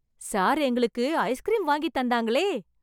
sir எங்களுக்கு ice cream வாங்கித் தந்தாங்களே...